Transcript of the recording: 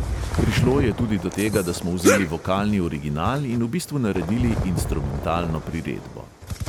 Prišlo je tudi do tega, da smo vzeli vokalni original in v bistvu naredili instrumentalno priredbo.